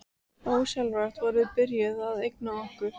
Ósjálfrátt vorum við byrjuð að einangra okkur.